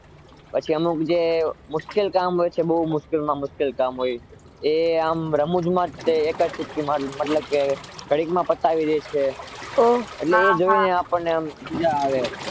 પછી અમુક જે મુશ્કેલ કામ હોય બહુ મુશ્કેલ માં મુશ્કેલ કામ હોય એ આમ જ રમૂજમાં એક ચુટકી માં મતલબ કે ઘડીક માં પતાવી દે છે એ જોય ને મજ્જા પડે